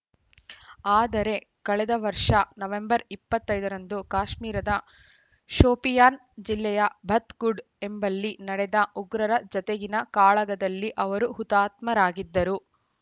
ಆದರೆ ಕಳೆದ ವರ್ಷ ನವೆಂಬರ್‌ ಇಪ್ಪತ್ತ್ ಐದರಂದು ಕಾಶ್ಮೀರದ ಶೋಪಿಯಾನ್‌ ಜಿಲ್ಲೆಯ ಬತ್‌ಗುಂಡ್‌ ಎಂಬಲ್ಲಿ ನಡೆದ ಉಗ್ರರ ಜತೆಗಿನ ಕಾಳಗದಲ್ಲಿ ಅವರು ಹುತಾತ್ಮರಾಗಿದ್ದರು